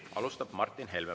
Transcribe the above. Alustab Martin Helme.